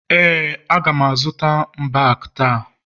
ee, a ga m azụta mbak taa